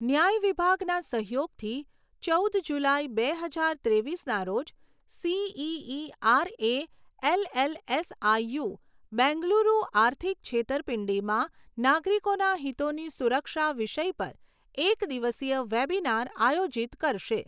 ન્યાય વિભાગના સહયોગથી ચૌદ જુલાઈ, બે હજાર ત્રેવીસના રોજ સીઈઈઆરએ એલએલએસઆઈયુ, બેંગલુરુ આર્થિક છેતરપિંડીમાં નાગરિકોના હિતોની સુરક્ષા વિષય પર એક દિવસીય વેબિનાર આયોજિત કરશે.